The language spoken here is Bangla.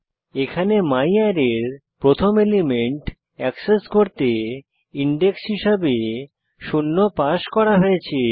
এখানে ম্যারে এর প্রথম এলিমেন্ট অ্যাক্সেস করতে ইনডেক্স হিসানে শূন্য পাস করা হয়েছে